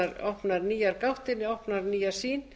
opnar nýjar gáttir opnar nýja sýn